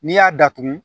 N'i y'a datugu